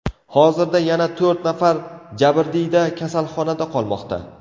Hozirda yana to‘rt nafar jabrdiyda kasalxonada qolmoqda.